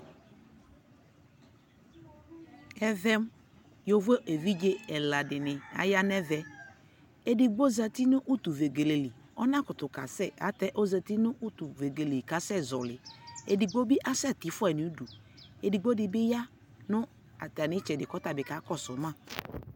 ɛvɛ yɔvɔ ɛvidzɛ ɛla dini aya nʋ ɛvɛ, ɛdigbɔ zati nʋ ʋtʋ vɛgɛlɛ li, ɔna kʋtʋ kasɛ ɛtɛ ɔzati nʋ ʋtʋ vɛgɛlɛ kʋ asɛ zɔli, ɛdigbɔ biasɛ ti ƒʋai nʋ ʋdʋ, ɛdigbɔ dibi ya nʋ atani ɛtsɛdɛ kʋ ɔtabi kakɔsʋ ma